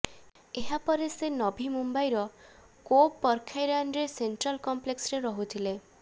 ଏହା ପରେ ସେ ନଭି ମୁମ୍ବାଇର କୋପରଖାଇରାନରେ ସେଣ୍ଟ୍ରାଲ କମ୍ପ୍ଲେକ୍ସରେ ରହୁଥିଲେ